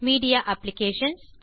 media ABPS